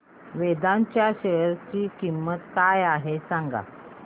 वेदांत च्या शेअर ची किंमत काय आहे सांगा